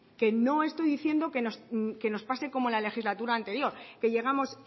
que no estoy diciendo que nos pase como la legislatura anterior que llegamos